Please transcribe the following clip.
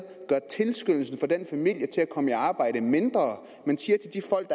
tilskyndelsen for den familie til at komme i arbejde mindre man siger til de folk